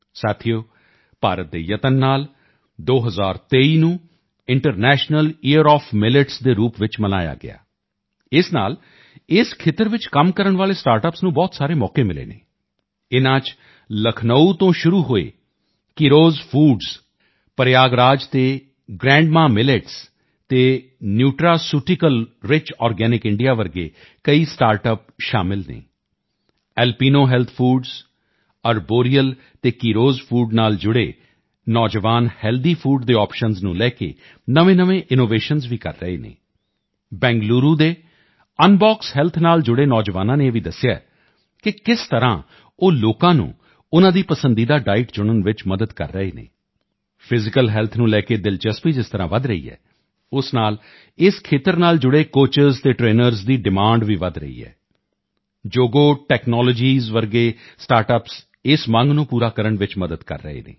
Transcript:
ਸਾਥੀਓ ਭਾਰਤ ਦੇ ਯਤਨ ਨਾਲ 2023 ਨੂੰ ਇੰਟਰਨੈਸ਼ਨਲ ਈਅਰ ਆਵ੍ ਮਿਲਟਸ ਦੇ ਰੂਪ ਵਿੱਚ ਮਨਾਇਆ ਗਿਆ ਇਸ ਨਾਲ ਇਸ ਖੇਤਰ ਵਿੱਚ ਕੰਮ ਕਰਨ ਵਾਲੇ ਸਟਾਰਟਅੱਪਸ ਨੂੰ ਬਹੁਤ ਸਾਰੇ ਮੌਕੇ ਮਿਲੇ ਹਨ ਇਨ੍ਹਾਂ ਵਿੱਚ ਲਖਨਊ ਤੋਂ ਸ਼ੁਰੂ ਹੋਏ ਕੀਰੋਜ਼ ਫੂਡਸ ਪ੍ਰਯਾਗਰਾਜ ਤੇ ਗ੍ਰੈਂਡ ਮਾ ਮਿਲਟਸ ਅਤੇ ਨਿਊਟਰਾਸੂਟੀਕਲ ਰਿਚ ਆਰਗੈਨਿਕ ਇੰਡੀਆ ਵਰਗੇ ਕਈ ਸਟਾਰਟਅੱਪਸ ਸ਼ਾਮਲ ਹਨ ਐਲਪੀਨੋ ਹੈਲਥ ਫੂਡਸ ਅਰਬੋਰੀਅਲ ਅਤੇ ਕੀਰੋਜ਼ ਫੂਡ ਨਾਲ ਜੁੜੇ ਨੌਜਵਾਨ ਹੈਲਦੀ ਫੂਡ ਦੇ ਆਪਸ਼ਨਜ਼ ਨੂੰ ਲੈ ਕੇ ਨਵੇਂਨਵੇਂ ਇਨੋਵੇਸ਼ਨ ਵੀ ਕਰ ਰਹੇ ਹਨ ਬੈਂਗਲੁਰੂ ਦੇ ਅਨਬੋਕਸ ਹੈਲਥ ਨਾਲ ਜੁੜੇ ਨੌਜਵਾਨਾਂ ਨੇ ਇਹ ਵੀ ਦੱਸਿਆ ਹੈ ਕਿ ਕਿਸ ਤਰ੍ਹਾਂ ਉਹ ਲੋਕਾਂ ਨੂੰ ਉਨ੍ਹਾਂ ਦੀ ਪਸੰਦੀਦਾ ਡਾਈਟ ਚੁਣਨ ਵਿੱਚ ਮਦਦ ਕਰ ਰਹੇ ਹਨ ਫਿਜ਼ੀਕਲ ਹੈਲਥ ਨੂੰ ਲੈ ਕੇ ਦਿਲਚਸਪੀ ਜਿਸ ਤਰ੍ਹਾਂ ਵਧ ਰਹੀ ਹੈ ਉਹ ਉਸ ਨਾਲ ਇਸ ਖੇਤਰ ਨਾਲ ਜੁੜੇ ਕੋਚਿਸ ਅਤੇ ਟਰੇਨਰਸ ਦੀ ਡਿਮਾਂਡ ਵੀ ਵਧ ਰਹੀ ਹੈ ਜੋਗੋ ਟੈਕਨਾਲੋਜੀਸ ਵਰਗੇ ਸਟਾਰਟਅੱਪਸ ਇਸ ਮੰਗ ਨੂੰ ਪੂਰਾ ਕਰਨ ਵਿੱਚ ਮਦਦ ਕਰ ਰਹੇ ਹਨ